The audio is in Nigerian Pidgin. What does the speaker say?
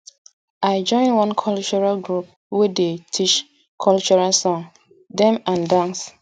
i join one cultural group wey dey teach cultural song dem and dance